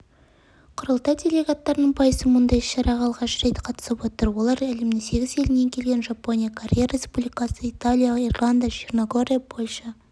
құрылтай делегаттарының пайызы мұндай іс-шараға алғаш рет қатысып отыр олар әлемнің сегіз елінен келген жапония корея республикасы италия ирландия черногория польша